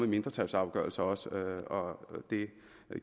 mindretalsafgørelser også og det